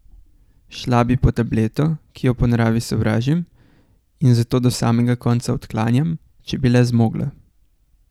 Šla bi po tableto, ki jo po naravi sovražim in zato do samega konca odklanjam, če bi le zmogla.